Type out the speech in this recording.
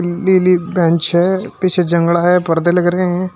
नीली बेंच है पीछे है पर्दे लग रहे हैं।